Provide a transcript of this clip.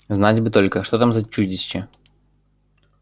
знать бы только что там за чудище